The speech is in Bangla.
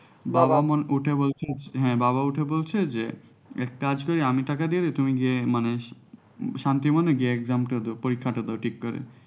বাবা মানে ওঠে বলছে যে হ্যাঁ বাবা উঠে বলছে যে এক কাজ করে আমি টাকা দিয়ে দিই তুমি গিয়ে মানে শান্তিমনে গিয়ে exam টা দাও পরীক্ষাটা দাও ঠিক করে।